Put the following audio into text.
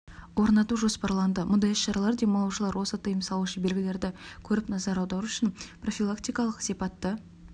орнату жоспарланды мұндай іс-шаралар демалушылар осы тыйым салушы белгілерді көріп назар аудару үшін профилактикалық сипатты